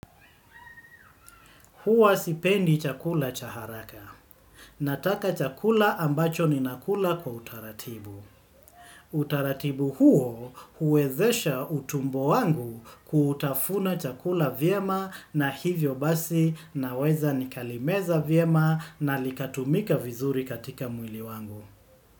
Huwa sipendi chakula chaharaka. Nataka chakula ambacho ni nakula kwa utaratibu. Utaratibu huo huwezesha utumbo wangu kutafuna chakula vyema na hivyo basi na weza nikalimeza vyema na likatumika vizuri katika mwili wangu.